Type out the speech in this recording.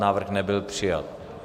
Návrh nebyl přijat.